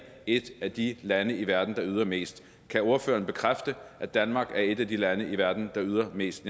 i et af de lande i verden der yder mest kan ordføreren bekræfte at danmark er et af de lande i verden der yder mest